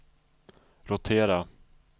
rotera